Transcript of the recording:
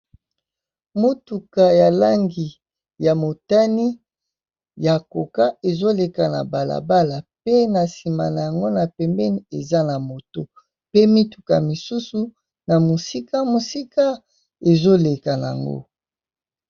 Motuka ya langi ya motani ya Coca ezo leka na bala bala, pe na nsima na yango na pembeni eza na moto. Pe mituka misusu na mosika, mosika ezo leka nango.